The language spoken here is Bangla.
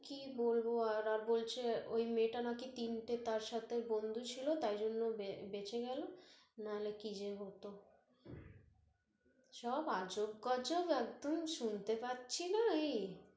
কি বলব আর, আর বলছে ওই মেয়েটা নাকি তিনটে তার সাথে বন্ধু ছিল তাই জন্য় ও বেচেঁ গেল, নাহলে কি যে হত সব আজব গজব একদম শুনতে পাচ্ছিনা এই